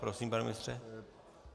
Prosím, pane ministře.